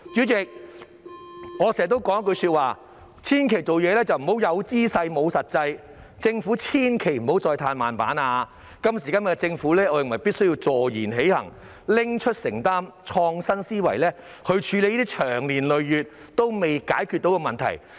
代理主席，我經常說一句話，做事千萬不要"有姿勢，無實際"，政府千萬不要再"嘆慢板"，我認為今時今日的政府必須坐言起行，勇於承擔，以創新思維來處理這些長年累月仍未能解決的問題。